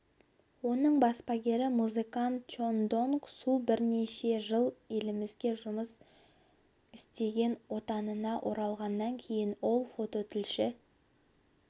оның баспагері музыкант чон донг су бірнеше жыл елімізде жұмыс істеген отанына оралғаннан кейін ол фототілші